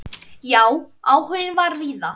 Já, áhuginn var víða.